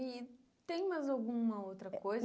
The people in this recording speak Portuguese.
E tem mais alguma outra coisa?